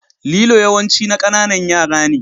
Lilo yawanci na ƙananan yara ne.